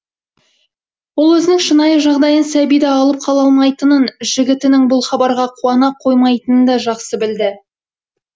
ол өзінің шынайы жағдайын сәбиді алып қала алмайтынын жігітінің бұл хабарға қуана қоймайтынында жақсы білді